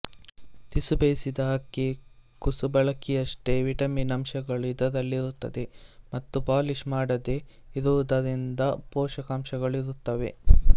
ತುಸುಬೇಯಿಸಿದ ಅಕ್ಕಿ ಕುಸುಬಲಕ್ಕಿಯಷ್ಟೇ ವಿಟಮಿನ್ ಅಂಶಗಳು ಇದರಲ್ಲಿರುತ್ತದೆ ಮತ್ತು ಪಾಲಿಶ್ ಮಾಡದೇ ಇರುವುದರಿಂದ ಪೋಷಕಾಂಶಗಳೂ ಇರುತ್ತವೆ